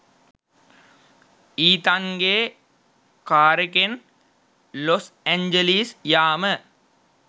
ඊතන්ගෙ කාරෙකෙන් Los Angeles යාම.